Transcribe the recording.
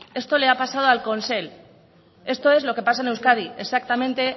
esto le ha pasado al consell esto es lo que pasa en euskadi exactamente